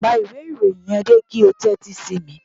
Pa ìwé ìròyìn yẹn dé kí o tẹ́tí sí mi